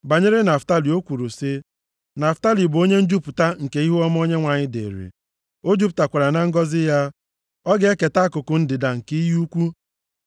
Banyere Naftalị, o kwuru sị, “Naftalị bụ onye njupụta nke ihuọma Onyenwe anyị dịrị, o jupụtakwara na ngọzị ya, ọ ga-eketa akụkụ ndịda nke iyi ukwu.”